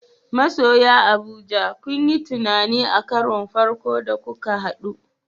Masoya Abuja ku yi tunani a karon farko da kuka hadu.